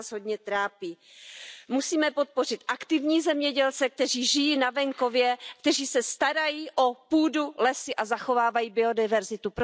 To nás hodně trápí. Musíme podpořit aktivní zemědělce, kteří žijí na venkově, kteří se starají o půdu, lesy a zachovávají biodiverzitu.